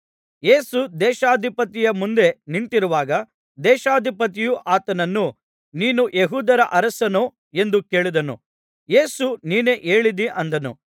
ಯೇಸು ದೇಶಾಧಿಪತಿಯ ಮುಂದೆ ನಿಂತಿರುವಾಗ ದೇಶಾಧಿಪತಿಯು ಆತನನ್ನು ನೀನು ಯೆಹೂದ್ಯರ ಅರಸನೋ ಎಂದು ಕೇಳಿದನು ಯೇಸು ನೀನೇ ಹೇಳಿದ್ದೀ ಅಂದನು